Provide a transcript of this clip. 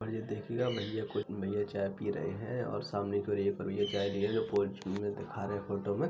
भईया देखिएगा भईया कोई चाय पी रहे हैं और सामने कोई एक भईया चाय पी रहे हैं फोन छु रहे हैं दिखा रहे हैं फोटो में।